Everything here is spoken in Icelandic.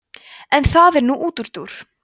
en það er nú útúrdúr